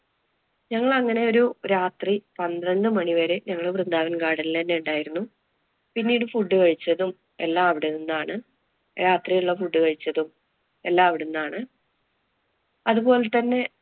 ഞങ്ങളങ്ങനെ ഒരു രാത്രി പന്ത്രണ്ട് മണി വരെ ഞങ്ങള് വൃന്ദാവന്‍ garden ല്‍ അന്നെ ഉണ്ടായിരുന്നു. പിന്നീടു food കഴിച്ചതും എല്ലാം അവിടെ നിന്നാണ്. രാത്രി ഒള്ള food കഴിച്ചതും എല്ലാം അവിടുന്നാണ്. അതുപോലെ തന്നെ